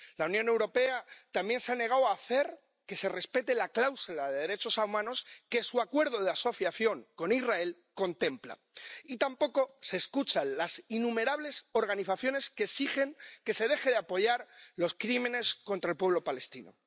La Unión Europea también se ha negado a hacer que se respete la cláusula de derechos humanos que su Acuerdo de Asociación con Israel contempla. Y tampoco se escucha a las innumerables organizaciones que exigen que se dejen de apoyar los crímenes contra el pueblo palestino.